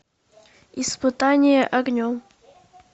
испытание огнем